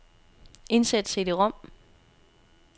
Indsæt cd-rom.